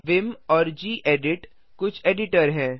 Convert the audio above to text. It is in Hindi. विम और गेडिट कुछ एडिटर हैं